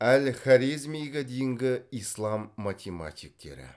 әл хорезмиге дейінгі ислам математиктері